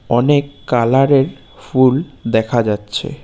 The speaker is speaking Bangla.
অনেক কালার -এর ফুল দেখা যাচ্ছে।